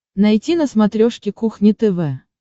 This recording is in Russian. найти на смотрешке кухня тв